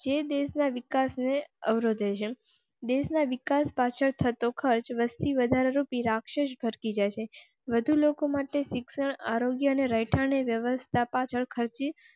જે દેશ ના વિકાસ ને અવરોધે શન દેશ ના વિકાસ પાછળ થતો ખર્ચ, વસ્તી વધારા, રૂપી રાક્ષસ ઘર કી જૈસે વધુ લોકો માટે શિક્ષણ, આરોગ્ય અને રહેઠાણ ની વ્યવસ્થા પાછળ ખર્ચ.